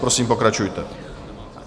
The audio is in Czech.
Prosím, pokračujte.